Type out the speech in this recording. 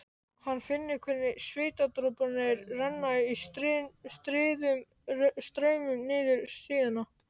Hann finnur hvernig svitadroparnir renna í stríðum straumum niður síðuna.